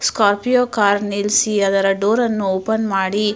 Scorpio car ನಿಲ್ಲಿಸಿ ಅದರ door open ಮಾಡಿ --